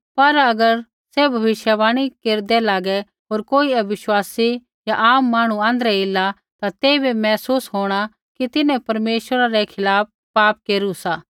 पर अगर सैभ भविष्यवाणी केरदै लागै होर कोई अविश्वासी या आम मांहणु आँध्रै ऐला ता तेइबै महसूस होंणा कि तिन्हैं परमेश्वरा रै खिलाफ़ पाप केरू सा